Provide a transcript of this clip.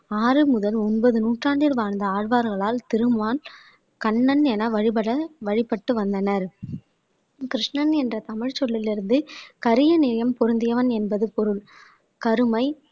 ஆறு முதல் ஒன்பது நூற்றாண்டில் வாழ்ந்த ஆழ்வார்களால் திருமான் கண்ணன் என வழிபட வழிபட்டு வந்தனர் கிருஷ்ணன் என்ற தமிழ் சொல்லிலிருந்து கரிய நேயம் பொருந்தியவன் என்பது பொருள் கருமை